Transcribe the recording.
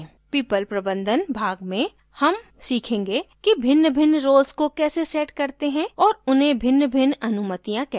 people प्रबंधन भाग में हम सीखेंगे कि भिन्नभिन्न roles को कैसे set करते हैं और उन्हें भिन्नभिन्न अनुमतियाँ कैसे देते हैं